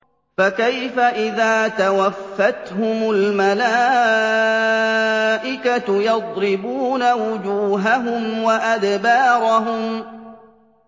فَكَيْفَ إِذَا تَوَفَّتْهُمُ الْمَلَائِكَةُ يَضْرِبُونَ وُجُوهَهُمْ وَأَدْبَارَهُمْ